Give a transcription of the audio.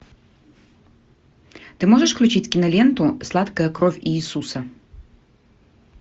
ты можешь включить киноленту сладкая кровь иисуса